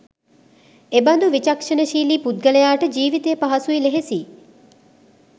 එබඳු විචක්‍ෂණශීලි පුද්ගලයාට ජීවිතය පහසුයි ලෙහෙසියි.